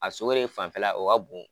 A fanfɛla o ka bon